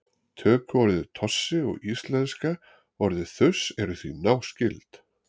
tökuorðið tossi og íslenska orðið þurs eru því náskyld